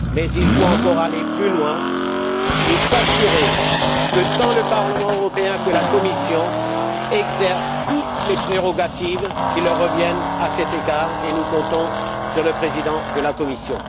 Mais il faut encore aller plus loin et s'assurer que tant le Parlement européen que la Commission exercent toutes les prérogatives qui leur reviennent à cet égard et nous comptons sur le Président de la Commission.